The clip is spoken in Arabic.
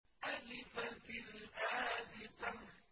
أَزِفَتِ الْآزِفَةُ